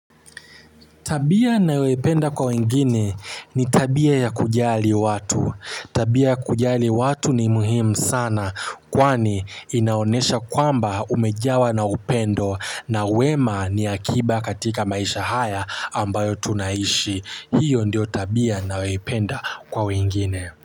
Tabia nayoipenda kwa wengine ni tabia ya kujali watu. Tabia ya kujali watu ni muhimu sana kwani inaonesha kwamba umejawa na upendo na wema ni akiba katika maisha haya ambayo tunaishi. Hiyo ndio tabia nayoipenda kwa wengine.